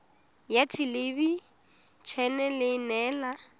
ya thelebi ene e neela